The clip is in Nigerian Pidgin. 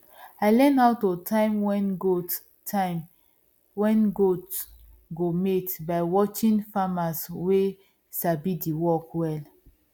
i learn how to time when goat time when goat go mate by watching farmers wey sabi the work well